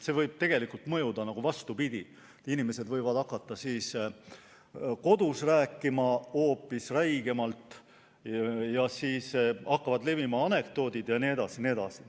See võib mõjuda vastupidi, inimesed võivad hakata kodus rääkima hoopis räigemalt ja siis hakkavad levima anekdoodid jne.